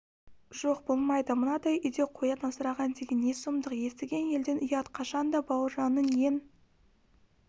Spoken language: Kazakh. жоқ болмайды мынадай үйде қоян асыраған деген не сұмдық естіген елден ұят қашан да бауыржанның ең